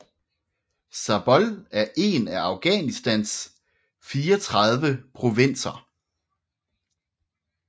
Zabol er en af Afghanistans 34 provinser